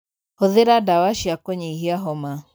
Hūthīra ndawa cia kūnyihia homa.